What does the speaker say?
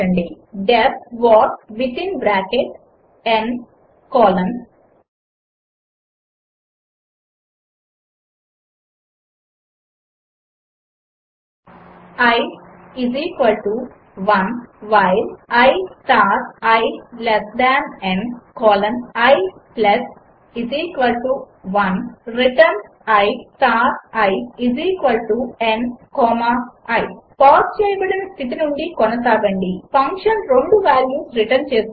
D E F what within bracket n colon i 1 while i star i less than n colon i 1 return i star i n comma i pause చేయబడిన స్థితి నుండి కొనసాగండి function రెండు values return చేస్తుంది